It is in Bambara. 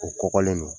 O kɔgɔlen don